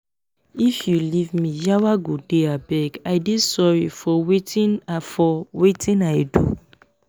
if you leave me yawa go dey abeg i dey sorry for wetin i for wetin i do